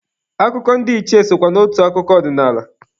Akụkọ ndị ichie sokwa n'otu akụkọ ọdinaala.